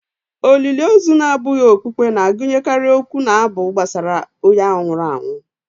Olili ozu na-abụghị okpukpe na-agụnyekarị okwu na abụ gbasara onye ahụ nwụrụ anwụ